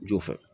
Jo fɛ